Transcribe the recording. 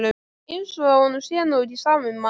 Eins og honum sé nú ekki sama um mann!